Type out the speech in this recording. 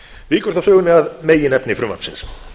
víkur þá sögunni að meginefni frumvarpsins